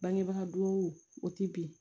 Bangebaga dugawu o ti bɛn